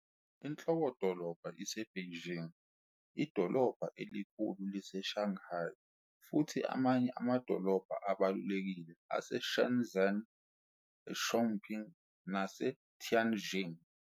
Inhlokodoloba iseBeijing, idolobha elikhulu liseShanghai, futhi amanye amadolobha abalulekile aseShenzhen, eChongqing, naseTianjing.